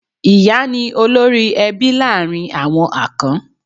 Ìyá ni olórí-ẹbí láàrin àwọn Akan.